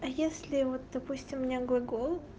а если вот допустим у меня глагол